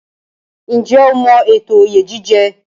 Ǹjẹ́ o mọ ètò oyè jíjẹ?